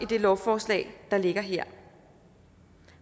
det lovforslag der ligger her